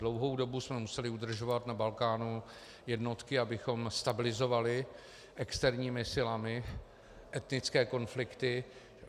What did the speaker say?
Dlouhou dobou jsme museli udržovat na Balkánu jednotky, abychom stabilizovali externími silami etnické konflikty.